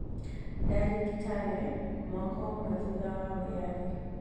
Ndarĩ Kitale mwaka ũmwe thutha wa wĩyathi